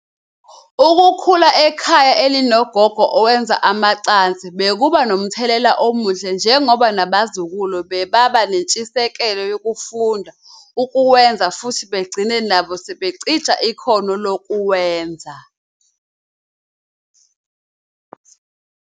Ukukhula ekhaya elinogogo owenza amacansi bekuba nomthelelela omuhle ngoba nabazukulu bebeba nentshisekelo yokufunda ukuwenza futhi begcine nabo sebecija ikhokno lokuwenza.